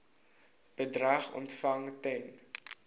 bedrag ontvang ten